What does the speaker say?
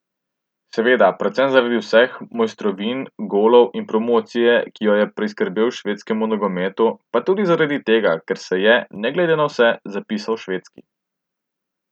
Seveda predvsem zaradi vseh mojstrovin, golov in promocije, ki jo je priskrbel švedskemu nogometu, pa tudi zaradi tega, ker se je, ne glede na vse, zapisal Švedski.